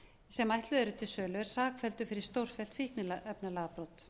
sem ætluð eru til sölu er sakfelldur fyrir stórfellt fíkniefnalagabrot þótt